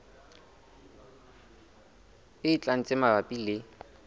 e tlang tse mabapi le